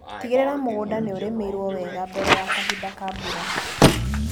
Tigĩrĩra mũgunda nĩũrĩmĩirwo wega mbere ya kahinda ka mbura.